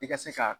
I ka se ka